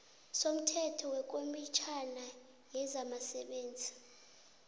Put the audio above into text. somthetho wekomitjhana yezabasebenzi